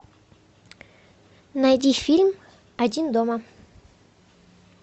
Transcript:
найди фильм один дома